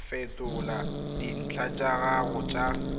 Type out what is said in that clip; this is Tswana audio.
fetola dintlha tsa gago tsa